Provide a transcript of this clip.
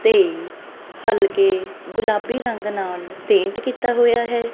ਤੇ ਹਲਕੇ ਗੁਲਾਬੀ ਰੰਗ ਨਾਲ ਪੇਂਟ ਕੀਤਾ ਹੋਇਆ ਹੈ।